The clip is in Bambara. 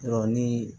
ni